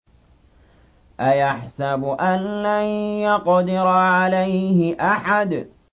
أَيَحْسَبُ أَن لَّن يَقْدِرَ عَلَيْهِ أَحَدٌ